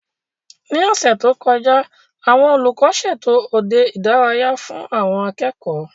Ní ọ̀sẹ̀ tó kọjá, àwọn olùkọ́ ṣètò òde ìdárayá fún àwọn akẹ́kọ̀ọ́